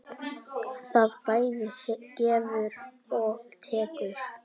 Það bæði gefur og tekur.